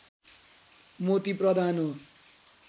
मोती प्रधान हो